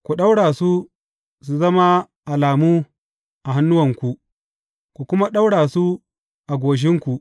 Ku ɗaura su su zama alamu a hannuwanku, ku kuma ɗaura su a goshinku.